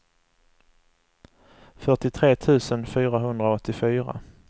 fyrtiotre tusen fyrahundraåttiofyra